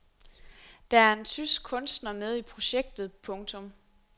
Der er en tysk kunstner med i projektet. punktum